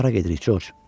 Hara gedirik, Corc?